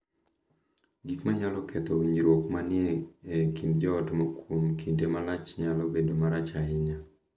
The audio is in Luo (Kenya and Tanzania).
Gik ma nyalo ketho winjruok ma ni e kind joot kuom kinde malach nyalo bedo marach ahinya.